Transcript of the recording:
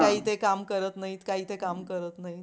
काही ते काम करत नाहीत काही ते काम करत नाहीत.